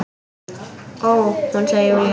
Ó, hún, segir Júlía.